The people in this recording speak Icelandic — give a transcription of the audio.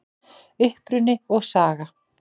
Uppruni og saga